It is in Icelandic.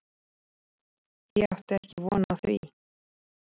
Ég átti ekki von á því.